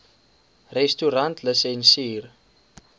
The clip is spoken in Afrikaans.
restaurantlisensier